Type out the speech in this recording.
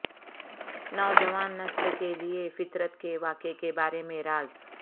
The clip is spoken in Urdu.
نوجوان نسل کے لئے فطرت کے واقعے کے بارے میں راز